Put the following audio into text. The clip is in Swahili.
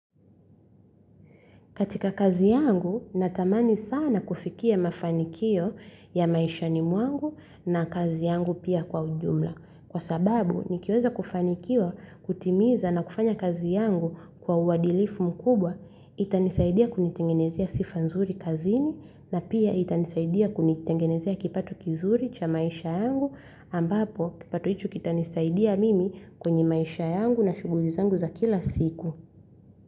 Katika kazi yangu, natamani sana kufikia mafanikio ya maishani mwangu na kazi yangu pia kwa ujumla. Kwa sababu, nikiweza kufanikiwa kutimiza na kufanya kazi yangu kwa uadilifu mkubwa, itanisaidia kunitengenezea sifa nzuri kazini na pia itanisaidia kunitengenezea kipato kizuri cha maisha yangu ambapo kipato icho kitanisaidia mimi kwenye maisha yangu na shughuli zangu za kila siku.